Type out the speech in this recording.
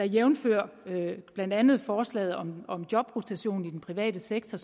jævnfør blandt andet forslaget om om jobrotation i den private sektor